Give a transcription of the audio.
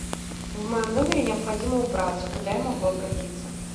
в моем номере необходимо убраться куда я могу обратиться